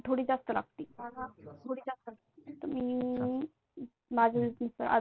थोडी जास्त लागते त मी माझ्या